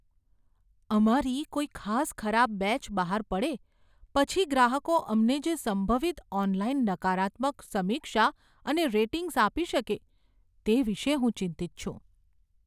અમારી કોઈ ખાસ ખરાબ બેચ બહાર પડે પછી ગ્રાહકો અમને જે સંભવિત ઓનલાઈન નકારાત્મક સમીક્ષા અને રેટિંગ્સ આપી શકે, તે વિષે હું ચિંતિત છું.